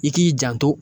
I k'i janto